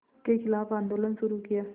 के ख़िलाफ़ आंदोलन शुरू किया